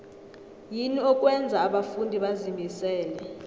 yini okwenza abafundi bazimisele